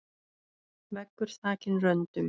Veggur þakinn röndum.